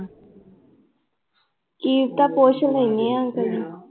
ਕੀ ਪਤਾ ਪੁੱਛ ਲੈਂਦੀ ਹਾਂ ਅੰਕਲ ਨੂੰ।